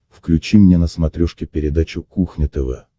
включи мне на смотрешке передачу кухня тв